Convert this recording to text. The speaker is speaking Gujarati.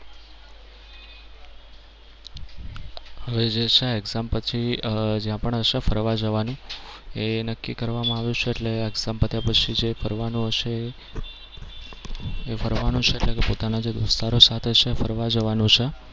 હવે જે છે exam પછી જ્યાં પણ હશે ફરવા જવાની એ નક્કી કરવામાં આવ્યું છે એટલે exam પત્યા પછી જે ફરવાનું હશે. એ ફરવાનું છે એટલે કે પોતાના જે વિસ્તારો સાથે છે ફરવા જવાનું છે.